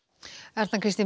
Erna Kristín